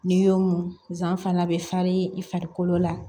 N'i y'o mun zan fana bɛ far'i i farikolo la